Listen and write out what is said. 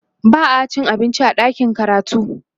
ba'a cin abinci a ɗakin karatu